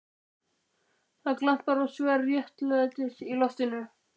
Það glampar á sverð réttlætisins í loftinu.